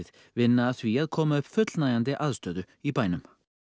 vinna að því að koma upp fullnægjandi aðstöðu í bænum